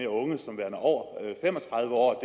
unge som værende over fem og tredive år